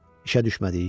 İşə düşmədik?